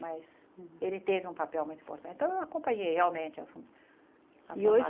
Mas ele teve um papel muito importante, então eu acompanhei realmente a for a forma E hoje